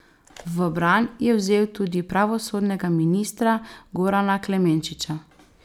V bran je vzel tudi pravosodnega ministra Gorana Klemenčiča.